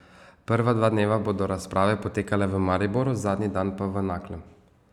Prva dva dneva bodo razprave potekale v Mariboru, zadnji dan pa v Naklem.